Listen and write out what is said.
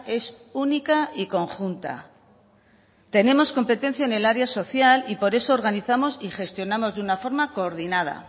es única y conjunta tenemos competencia en el área social y por eso organizamos y gestionamos de una forma coordinada